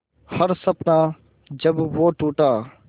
हर सपना जब वो टूटा